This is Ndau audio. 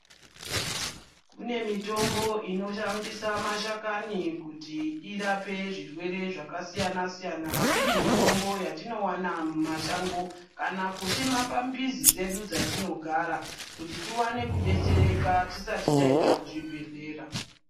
Kune mitombo inoshandisa mashakani kuti irape zvirwere zvaka siyana siyana iri mitombo yatino wana mu mashango kana kusima pa mbizi dzedu dza tinogara kuti tiwane ku detsereka tisati taenda ku zvibhedhlera.